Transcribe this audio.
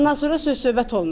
Bundan sonra söz-söhbət olmuşdu.